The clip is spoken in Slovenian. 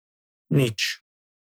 Nič.